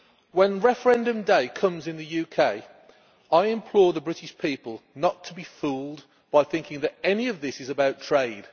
When the referendum day comes in the UK, I implore the British people not to be fooled by thinking that any of this is about trade.